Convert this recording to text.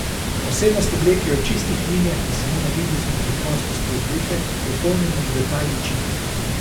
Posebnost obleke je v čistih linijah in samo navidezni preprostosti obleke, dopolnjene z detajli čipke.